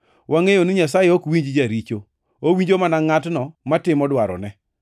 Wangʼeyo ni Nyasaye ok winj jaricho. Owinjo mana ngʼatno matimo dwarone.